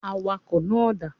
Awakọ̀ náà dà.